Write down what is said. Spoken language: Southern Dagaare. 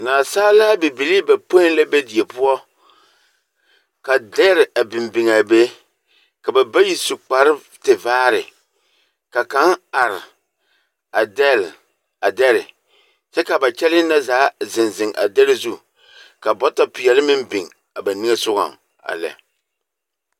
Nasaalaa bibilii bapõĩ la be die poɔ, ka dɛre a biŋ biŋaa, ka ba bayi a su kparetevaare, ka kaŋ are, a dɛle a dɛre, kyɛ ka ba kyɛlee na zaa zeŋ zeŋ a dɛre zu, ka bɔtɔpeɛle meŋ biŋ a ba niŋesogɔŋ, a lɛ.